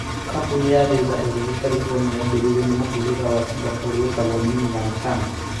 Kambuni ya Razer ĩrĩa ĩrĩ California, yaambĩrĩirio nĩ mũhĩrĩga wa Singapore wĩtagwo Min-Liang Tan.